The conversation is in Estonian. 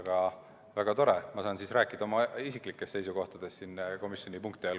Aga väga tore, ma saan rääkida oma isiklikest seisukohtadest komisjoni punkti all.